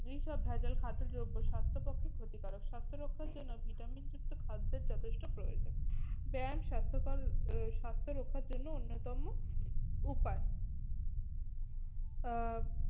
এইসব ভেজাল খাদ্য দ্রব্য স্বাস্থ্যের পক্ষে ক্ষতিকারক। স্বাস্থ্য রক্ষার জন্য ভিটামিন যুক্ত খাদ্যের যথেষ্ট প্রয়োজন। ব্যায়াম স্বাস্থ্যকর আহ স্বাস্থ্য রক্ষার জন্য অন্যতম উপায়। আহ